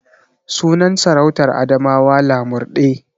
Sunan sarautar Adamawa Lamurɗe.